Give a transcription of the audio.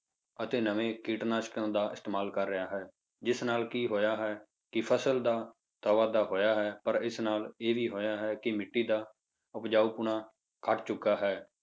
ਅਤੇ ਨਵੇਂ ਕੀਟਨਾਸ਼ਕਾਂ ਦਾ ਇਸਤੇਮਾਲ ਕਰ ਰਿਹਾ ਹੈ, ਜਿਸ ਨਾਲ ਕੀ ਹੋਇਆ ਹੈ ਕਿ ਫਸਲ ਦਾ ਤਾਂ ਵਾਧਾ ਹੋਇਆ ਹੈ, ਪਰ ਇਸ ਨਾਲ ਇਹ ਵੀ ਹੋਇਆ ਹੈ ਕਿ ਮਿੱਟੀ ਦਾ ਉਪਜਾਉਪੁਣਾ ਘੱਟ ਚੁੱਕਾ ਹੈ।